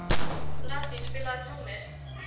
Randý, spilaðu tónlist.